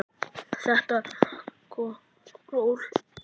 Þetta er rokk og ról.